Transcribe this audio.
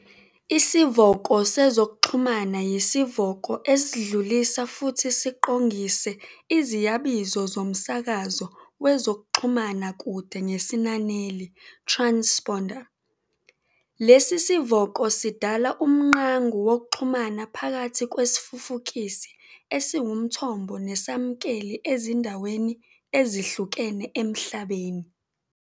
Isivoko sezokuxhumana yisivoko esidlulisa futhi siqongise iziyabizo zomsakazo wezokuxhumana kude ngesinaneli "transponder", lesi sivoko sidala umngqangu wokuxhumana phakathi kwesifufukisi esiwumthombo nesamukeli ezindaweni ezihlukene Emhlabeni.